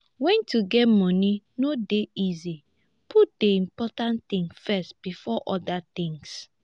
when to get money no dey easy put di important things first before oda things